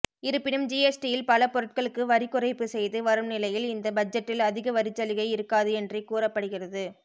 இருப்பினும் ஜிஎஸ்டியில் பல பொருட்களுக்கு வரிக்குறைப்பு செய்து வரும் நிலையில் இந்த பட்ஜெட்டில் அதிக வரிச்சலுகை இருக்காது என்றே கூறப்படுகிறது